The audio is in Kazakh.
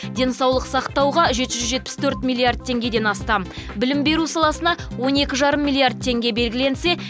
денсаулық сақтауға жеті жүз жетпіс төрт миллиард теңгеден астам білім беру саласына он екі жарым миллиард теңге белгіленсе